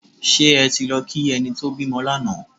Ṣé ẹ ti lọ kí ẹni tó bímọ lánàá?